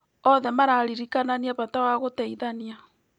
Othe mararirikanania bata wa gũteithania.